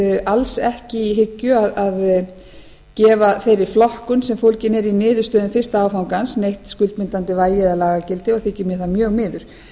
alls ekki í hyggju að gefa þeirri flokkun sem fólgin er í niðurstöðum fyrsta áfangans neitt skuldbindandi vægi eða lagagildi og þykir mér það mjög miður